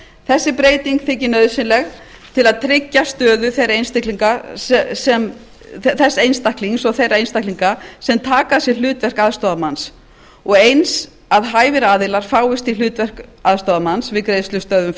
þessi breyting þykir nauðsynleg til að tryggja stöðu þess einstaklings og þeirra einstaklinga sem taka að sér hlutverk aðstoðarmanns og eins að hæfir aðilar fáist í hlutverk aðstoðarmanns við greiðslustöðvun